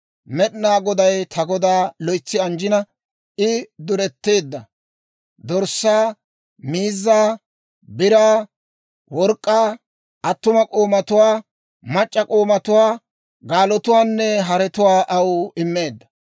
Med'inaa Goday ta godaa loytsi anjjina, I duretteedda; dorssaa, miizzaa, biraa, work'k'aa, attuma k'oomatuwaa, mac'c'a k'oomatuwaa, gaalotuwaanne haretuwaa aw immeedda.